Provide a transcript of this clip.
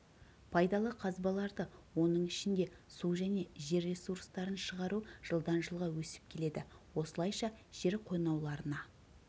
пайдалы қазбаларды оның ішінде су және жер ресурстарын шығару жылдан жылға өсіп келеді осылайша жер қойнауларына